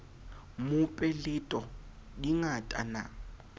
mope leto di ngata ma